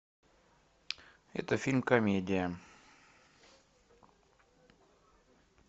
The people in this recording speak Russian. это фильм комедия